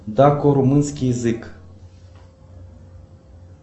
дако румынский язык